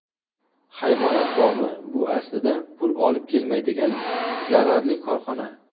Hayvonot bog‘i bu aslida pul olib kelmaydigan zararli korxona.